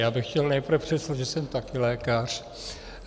Já bych chtěl nejprve předeslat, že jsem taky lékař.